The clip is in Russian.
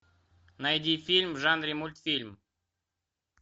найди фильм в жанре мультфильм